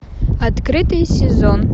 открытый сезон